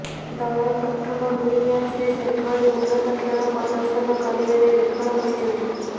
ଦଳ ପ୍ରଥମ ଦୁଇ ମ୍ୟାଚରେ ସେଭଳି ଉନ୍ନତ ଖେଳ ପ୍ରଦର୍ଶନ କରିବାରେ ବିଫଳ ହୋଇଛନ୍ତି